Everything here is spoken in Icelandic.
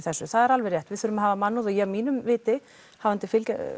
það er alveg rétt við þurfum að hafa mannúð og að mínu viti hafandi